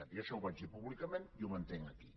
jo això ho vaig dir públicament i ho mantinc aquí